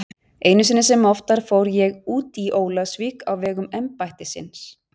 Einu sinni sem oftar fór ég út í Ólafsvík á vegum embættisins.